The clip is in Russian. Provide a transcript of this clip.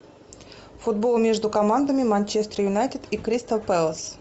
футбол между командами манчестер юнайтед и кристал пэлас